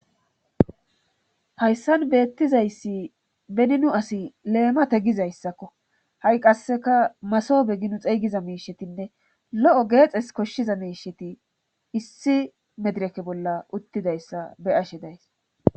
hayssan beettizayssi bennu asi leemate gizayssakko ha7i qasseka maso be ginu xeygiza miishetinne lo7o geexes koshshiza miisheti issi medireke bolla uttidayssa be ashe days